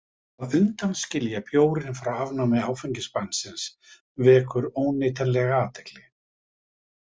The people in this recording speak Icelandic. Að undanskilja bjórinn frá afnámi áfengisbannsins vekur óneitanlega athygli.